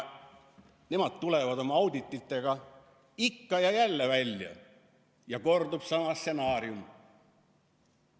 Nemad tulevad oma audititega ikka ja jälle välja ja kordub sama stsenaarium.